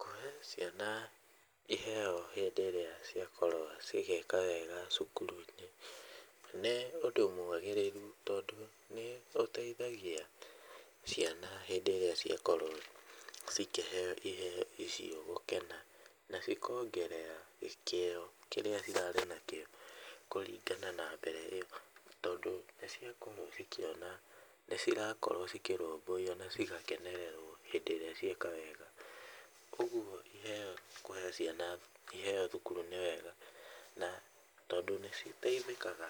Kũhe ciana iheo hĩndĩ ĩrĩa ciakorwo cigĩka wega cukuru-inĩ nĩ ũndũ mwagĩrĩru tondũ nĩũteithagia ciana hĩndĩ ĩrĩa ciakorwo cikĩheo iheo icio gũkena na cikongerera kĩo kĩrĩa ĩrarĩ nakĩo kũringana na mbere ĩyo, tondũ nĩciakorwo cikĩona nĩcirakorwo cikĩrũmbũiywo na cigakenererwo hĩndĩ ĩrĩa cieka wega, ũguo iheo kũhe ciana iheo thukuru nĩ wega, na tondũ nĩciteithĩkaga